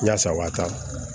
Yaasa o waati